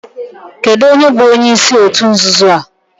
Kedu onye bu onyeisi otu nzuzo a?